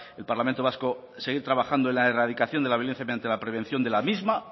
el parlamento vasco seguir trabajando en la erradicación de la violencia mediante la prevención de la misma